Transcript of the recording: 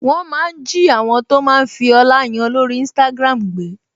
Wọ́n máa ń jí àwọn tó máa ń fi ọlá yan lórí Instagram gbé